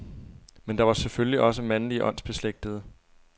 Men der var selvfølgelig også mandlige åndsbeslægtede.